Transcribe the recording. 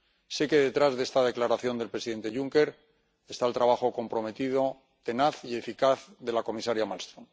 Sé que detrás de esta declaración del presidente Juncker está el trabajo comprometido, tenaz y eficaz, de la comisaria Malmström.